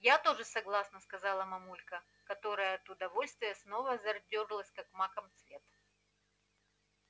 я тоже согласна сказала мамулька которая от удовольствия снова зарделась как маков цвет